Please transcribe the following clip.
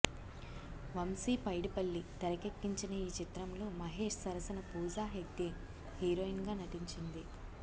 వంశీ పైడిపల్లి తెరకెక్కించిన ఈ చిత్రంలో మహేష్ సరసన పూజా హెగ్డే హీరోయిన్ గా నటించింది